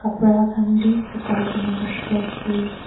kapra khan bi sukhai ke na dikhi ase.